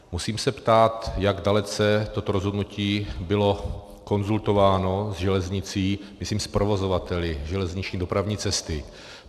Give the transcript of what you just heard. Musím se ptát, jak dalece toto rozhodnutí bylo konzultováno s železnicí, myslím s provozovateli železniční dopravní cesty.